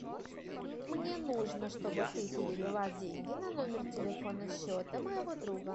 мне нужно чтобы ты перевела деньги на номер телефона счета моего друга